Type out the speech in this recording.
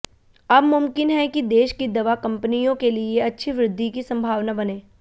अब मुमकिन है कि देश की दवा कंपनियों के लिए अच्छी वृद्धि की संभावना बने